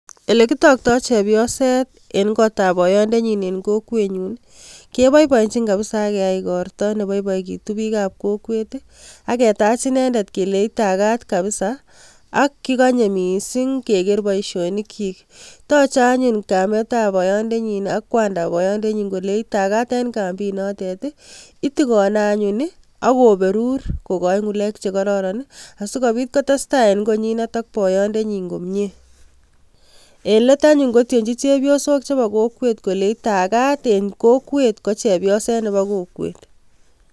Ole kitagto chebioset eng kotab boyondenyi eng kokwenyun ii, keboiboenjin kabisa ak keyai igorto ne boiboegitu bik ab kokwet ii ak ketach inendet kelei, itagat kabisa ak kigonye mising keger bousionikyik. Toche anyun kametab boyondenyin ak kwandab boyondenyin kolei, itagat eng kambit notet. Itogone anyun ak koberur kogoi ngulek che kororon asigopit kotestai eng konyinet ak boyondenyin komie. En let anyun kotienji chepiosok chebo kokwet kolenji tagat en kokwet ko chepioset nobo kokwet.